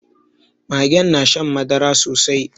Magen na shan madara sosai